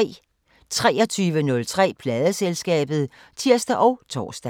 23:03: Pladeselskabet (tir og tor)